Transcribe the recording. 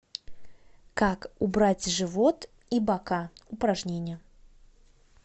как убрать живот и бока упражнения